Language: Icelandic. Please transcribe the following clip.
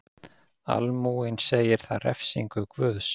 Almúginn segir það refsingu Guðs.